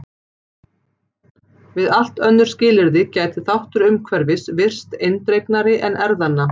Við allt önnur skilyrði gæti þáttur umhverfis virst eindregnari en erfðanna.